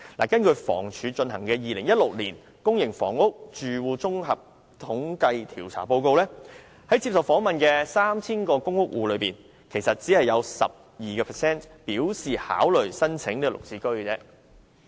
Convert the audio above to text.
根據房屋署進行的 "2016 年公營房屋住戶綜合統計調查報告"，在受訪的 3,000 個公屋戶中，其實只有 12% 表示會考慮購買"綠置居"。